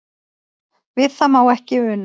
Við það má ekki una.